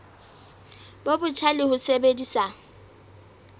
bo botjha le ho sebedisa